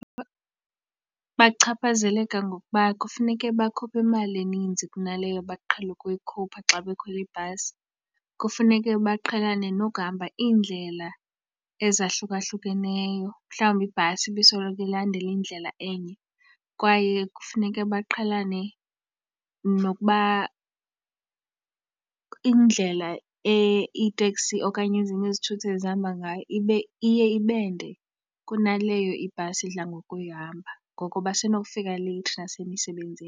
Bachaphazeleka ngokuba kufuneke bakhuphe imali eninzi kunaleyo baqhele ukuyikhupha xa bekhwela ibhasi. Kufuneke baqhelane nokuhamba iindlela ezahlukahlukeneyo, mhlawumbi ibhasi ibisoloko ilandela indlela enye. Kwaye kufuneke baqhelane nokuba indlela iiteksi okanye ezinye izithuthi ezihamba ngayo iye ibe nde kunaleyo ibhasi idla ngokuyihlamba, ngoko basenokufika leyithi nasemisebenzini.